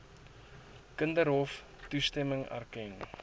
kinderhof toestemming erken